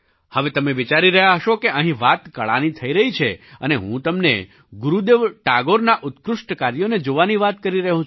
હવે તમે વિચારી રહ્યા હશો કે અહીં વાત કળાની થઈ રહી છે અને હું તમને ગુરુદેવ ટાગોરનાં ઉત્કૃષ્ટ કાર્યોને જોવાની વાત કરી રહ્યો છું